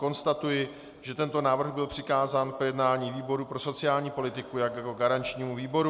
Konstatuji, že tento návrh byl přikázán k projednání výboru pro sociální politiku jako garančnímu výboru.